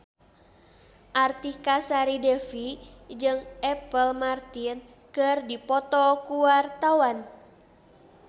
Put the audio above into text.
Artika Sari Devi jeung Apple Martin keur dipoto ku wartawan